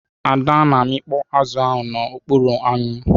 Ada na amịkpọ azụ na ọkpụrụ anwụ.